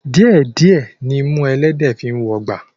Díẹ̀ díẹ̀ nimú ẹlẹ́dẹ̀ẹ́ fi ń wọgbà